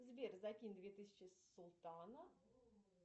сбер закинь две тысячи султана